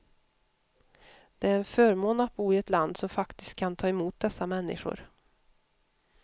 Det är en förmån att bo i ett land som faktiskt kan ta emot dessa människor.